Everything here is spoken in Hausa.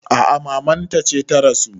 A a maman ta ce ta rasu.